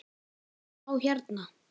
Þá hérna.